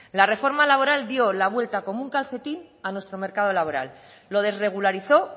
la reforma laboral dio la vuelta como un calcetín a nuestro mercado laboral lo desregularizó